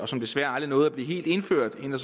som desværre aldrig nåede at blive helt indført inden